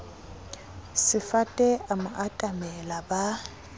sefate a mo atamela ba